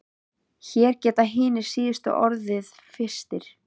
Hér geta hinir síðustu orðið fyrstir.